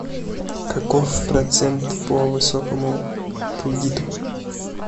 каков процент по высокому кредиту